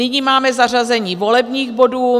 Nyní máme zařazení volebních bodů.